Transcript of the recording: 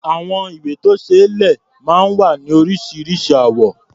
Àwọn ìwé-tó-ṣeé-lẹ̀ máa ń wá ní oríṣiríṣi àwọ̀.